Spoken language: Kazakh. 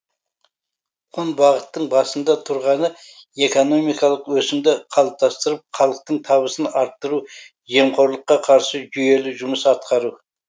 он бағыттың басында тұрғаны экономикалық өсімді қалыптастырып халықтың табысын арттыру жемқорлыққа қарсы жүйелі жұмыс атқару